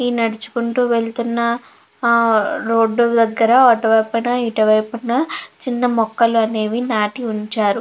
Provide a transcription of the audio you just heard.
ఈ నడుచుకుంటూ వెళ్తున్న ఆ రోడ్డు దగ్గర అటు వైపున ఇటు వైపున చిన్న మొక్కలు అనేవి నాటి వుంచారు.